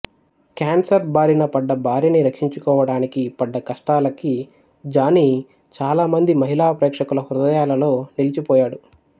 cancer బారిన పడ్డ భార్యని రక్షించుకోవటానికి పడ్డ కష్టాలకి జానీ చాలా మంది మహిళా ప్రేక్షకుల హృదయాలలో నిలిచిపోయాడు